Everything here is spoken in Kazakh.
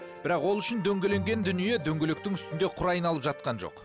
бірақ ол үшін дөңгеленген дүние дөңгелектің үстінде құр айналып жатқан жоқ